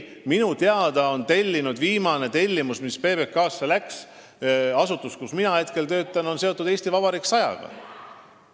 Minu teada oli Riigikantselei – see on asutus, kus mina praegu töötan – viimane tellimus PBK-le seotud "Eesti Vabariik 100-ga".